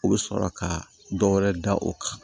U bɛ sɔrɔ ka dɔ wɛrɛ da u kan